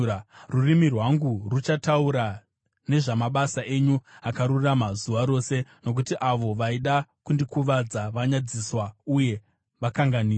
Rurimi rwangu ruchataura nezvamabasa enyu akarurama zuva rose, nokuti avo vaida kundikuvadza vanyadziswa uye vakanganiswa.